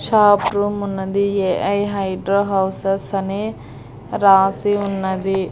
Shop room ఉన్నది A I hydro houses అని రాసి ఉన్నది.